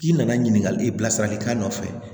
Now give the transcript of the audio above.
I nana ɲininkali bilasiralikan nɔfɛ